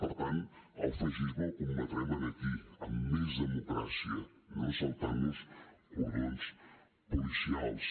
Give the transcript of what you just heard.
per tant el feixisme el combatrem aquí amb més democràcia no saltant nos cordons policials